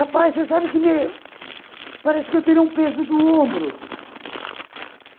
Rapaz, você sabe que me... parece que eu teria um peso do ombro.